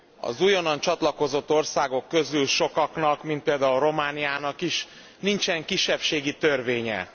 Az újonnan csatlakozott országok közül sokaknak, mint például Romániának is, nincsen kisebbségi törvénye.